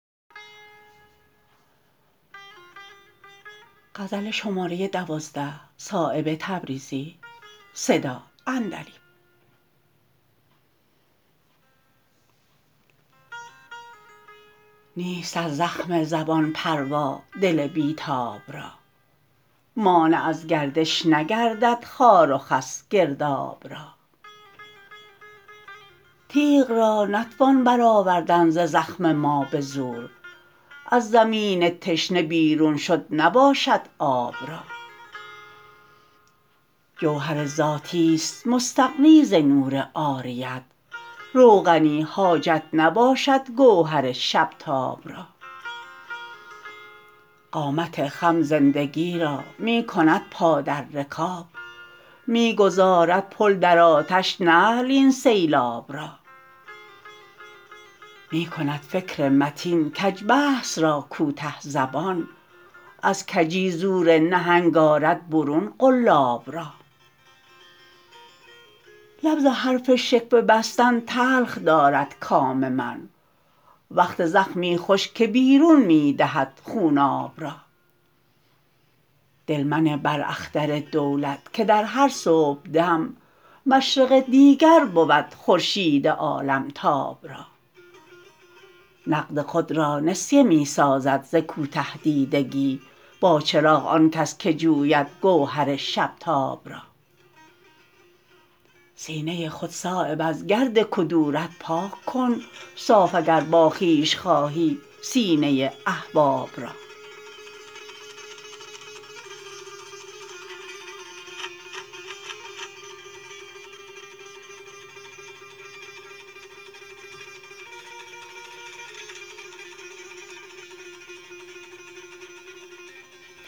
نیست از زخم زبان پروا دل بی تاب را مانع از گردش نگردد خار و خس گرداب را تیغ را نتوان برآوردن ز زخم ما به زور از زمین تشنه بیرون شد نباشد آب را جوهر ذاتی است مستغنی ز نور عاریت روغنی حاجت نباشد گوهر شب تاب را قامت خم زندگی را می کند پا در رکاب می گذارد پل در آتش نعل این سیلاب را می کند فکر متین کج بحث را کوته زبان از کجی زور نهنگ آرد برون قلاب را لب ز حرف شکوه بستن تلخ دارد کام من وقت زخمی خوش که بیرون می دهد خوناب را دل منه بر اختر دولت که در هر صبحدم مشرق دیگر بود خورشید عالمتاب را نقد خود را نسیه می سازد ز کوته دیدگی با چراغ آن کس که جوید گوهر شب تاب را سینه خود صایب از گرد کدورت پاک کن صاف اگر با خویش خواهی سینه احباب را